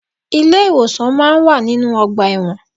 Ilé ìwòsàn máa ń wà nínú ọgbà ẹ̀wọ̀n.